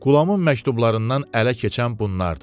Qulamın məktublarından ələ keçən bunlar idi: